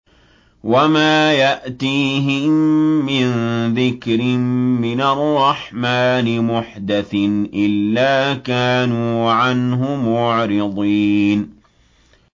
وَمَا يَأْتِيهِم مِّن ذِكْرٍ مِّنَ الرَّحْمَٰنِ مُحْدَثٍ إِلَّا كَانُوا عَنْهُ مُعْرِضِينَ